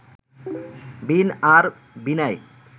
বীণ আর বীণায়